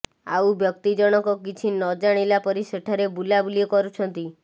ଆଉ ବ୍ୟକ୍ତି ଜଣଙ୍କ କିଛି ନ ଜାଣିଲା ପରି ସେଠାରେ ବୁଲାବୁଲି କରୁଛନ୍ତି